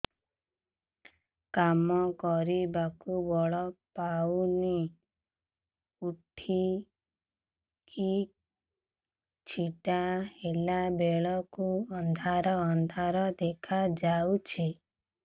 କାମ କରିବାକୁ ବଳ ପାଉନି ଉଠିକି ଛିଡା ହେଲା ବେଳକୁ ଅନ୍ଧାର ଅନ୍ଧାର ଦେଖା ଯାଉଛି